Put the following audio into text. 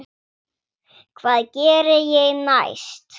Hvað geri ég næst?